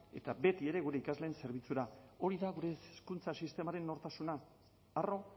eta betiere gure ikasleen zerbitzura hori da gure hezkuntza sistemaren nortasuna harro